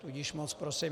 Tudíž moc prosím.